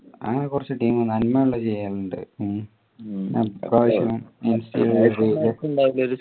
അങ്ങനെ കുറച്ചു team നന്മയുള്ള ചെയ്യലുണ്ട് ഉം